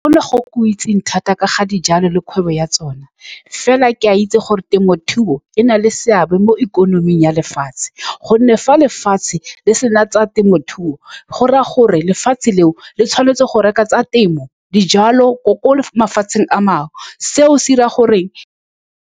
Go ne go-go itseng thata ka ga dijalo le kgwebo ya tsone, fela ke a itse gore temothuo e na le seabe mo ikonoming ya lefatshe. Ka gonne fa lefatshe le sena tsa temothuo, go raya gore lefatshe leo le tshwanetse go reka tsa temo dijalo ko mafatsheng a mangwe. Seo se dira gore.